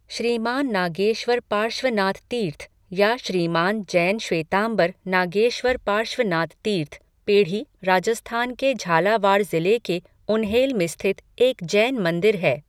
श्रीमान नागेश्वर पार्श्वनाथ तीर्थ या श्रीमान जैन श्वेतांबर नागेश्वर पार्श्वनाथ तीर्थ, पेढ़ी, राजस्थान के झालावाड़ ज़िले के उन्हेल में स्थित एक जैन मंदिर है।